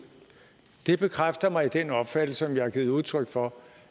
bekræfter mig i den opfattelse som jeg har givet udtryk for